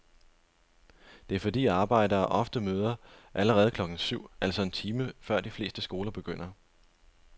Det er fordi arbejdere ofte møder allerede klokken syv, altså en time før de fleste skoler begynder.